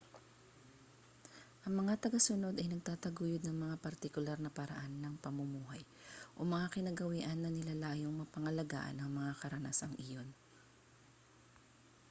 ang mga tagasunod ay nagtataguyod ng mga partikular na paraan ng pamumuhay o mga kinagawian na nilalayong mapangalagaan ang mga karanasang iyon